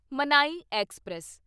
ਮਨਾਈ ਐਕਸਪ੍ਰੈਸ